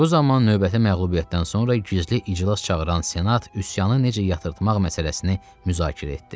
Bu zaman növbəti məğlubiyyətdən sonra gizli iclas çağıran senat üsyanı necə yatırtmaq məsələsini müzakirə etdi.